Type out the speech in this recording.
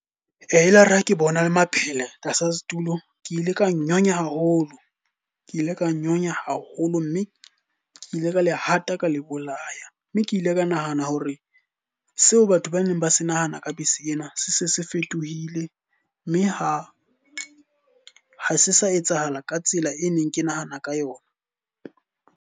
E la re ha ke bona le maphele tlasa setulo, ke ile ka nyonya haholo. Ke ile ka nyonya haholo mme ke ile ka le hata ka le bolaya. Mme ke ile ka nahana hore e seo batho ba neng ba sa nahana ka bese ena se se se fetohile. Mme ha se sa etsahala ka tsela e neng ke nahana ka yona.